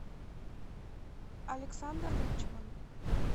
александр личман